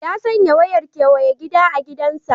Ya sanya wayar kewaye gida a gidansa.